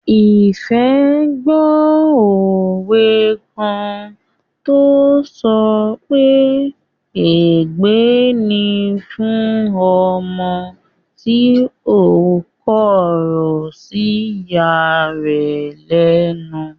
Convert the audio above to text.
Ìfẹ́ gbó òwe kan tó sọ pé "ègbé ni fún ọmọ tí ó kọ̀rọ̀ sí ìya rẹ̀ lẹ́nu"